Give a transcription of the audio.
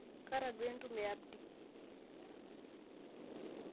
kaata duo entumo o Abdi